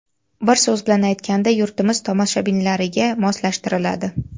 Bir so‘z bilan aytganda, yurtimiz tomoshabinlariga moslashtiriladi.